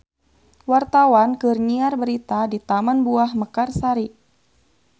Wartawan keur nyiar berita di Taman Buah Mekarsari